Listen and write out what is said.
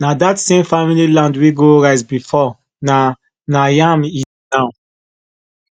na that same family land wey grow rice before na na yam e dey grow now